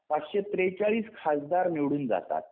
पाचशे त्रेचाळीस खासदार निवडून जातात